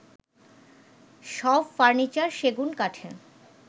সব ফার্নিচার সেগুন কাঠের